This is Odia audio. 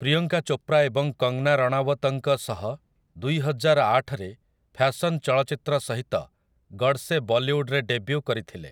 ପ୍ରିୟଙ୍କା ଚୋପ୍ରା ଏବଂ କଙ୍ଗନା ରାଣାୱତଙ୍କ ସହ ଦୁଇହଜାରଆଠରେ ଫ୍ୟାଶନ୍ ଚଳଚ୍ଚିତ୍ର ସହିତ ଗଡ଼ସେ ବଲିଉଡରେ ଡେବ୍ୟୁ କରିଥିଲେ ।